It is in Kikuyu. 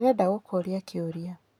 Ndĩrenda gũkũria kĩũria.